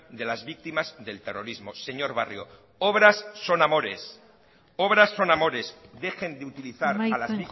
de las víctimas del terrorismo señor barrio obras son amores obras son amores dejen de utilizar a las